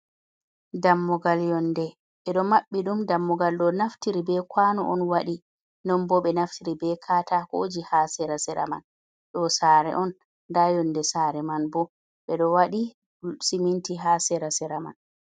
Dammugal yonde e ɗo maɓɓi ɗum, dammugal ɗo naftire be kwano on waɗe, non bo ɓe naftiri be katakoji ha sera sera man, ɗo sare on nda yonde sare man bo ɓeɗo waɗi siminti ha sera sera man.